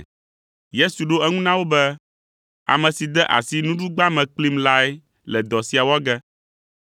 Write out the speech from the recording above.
Yesu ɖo eŋu na wo be, “Ame si de asi nuɖugba me kplim lae le dɔ sia wɔ ge.